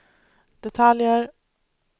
detaljer